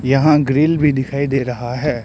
यहां ग्रिल भी दिखाई दे रहा है।